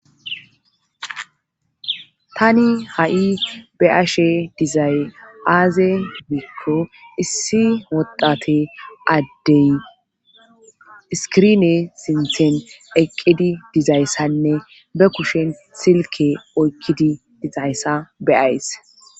tani ha7i be'ashe dizay aaze miikko issi addey iskirine sinthen eqqidi dizayssanne be kushen silke oykkidi dizayssa be'ays